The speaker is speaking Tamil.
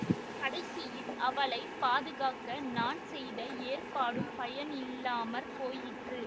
கடைசியில் அவளை பாதுகாக்க நான் செய்த ஏற்பாடும் பயனில்லாமற் போயிற்று